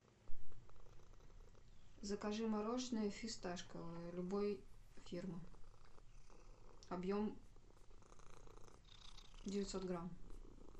закажи мороженое фисташковое любой фирмы объем девятьсот грамм